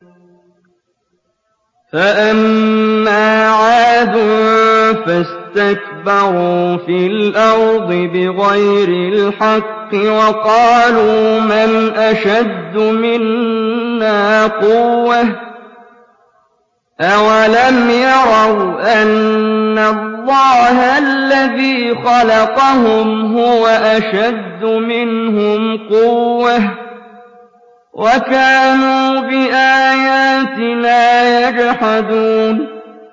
فَأَمَّا عَادٌ فَاسْتَكْبَرُوا فِي الْأَرْضِ بِغَيْرِ الْحَقِّ وَقَالُوا مَنْ أَشَدُّ مِنَّا قُوَّةً ۖ أَوَلَمْ يَرَوْا أَنَّ اللَّهَ الَّذِي خَلَقَهُمْ هُوَ أَشَدُّ مِنْهُمْ قُوَّةً ۖ وَكَانُوا بِآيَاتِنَا يَجْحَدُونَ